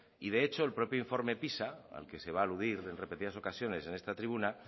de hecho el propio informe pisa al que se va aludir en repetidas ocasiones en esta tribuna